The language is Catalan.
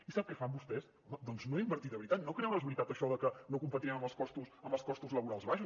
i sap què fan vostès home doncs no invertir de veritat no creure’s de veritat això de que no competirem amb els costos laborals baixos